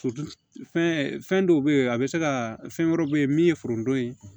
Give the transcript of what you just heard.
fɛn dɔw bɛ yen a bɛ se ka fɛn wɛrɛw bɛ yen min ye foronto ye